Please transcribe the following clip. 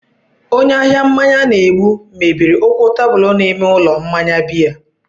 Onye ahịa mmanya na-egbu mebiri ụkwụ tebụl n'ime ụlọ mmanya biya.